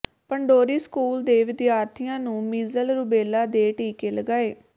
Pandori school ਦੇ ਵਿਦਿਆਰਥੀਆਂ ਨੂੰ ਮੀਜ਼ਲ ਰੁਬੇਲਾ ਦੇ ਟੀਕੇ ਲਗਾਏ